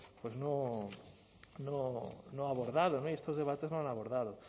no ha abordado y estos debates no han abordado